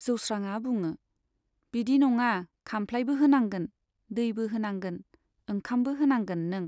जौस्राङा बुङो, बिदि नङा खाम्फ्लाइबो होनांगोन, दैबो होनांगोन, ओंखामबो होनांगोन नों।